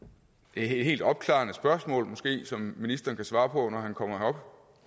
et opklarende spørgsmål som ministeren måske kan svare på når han kommer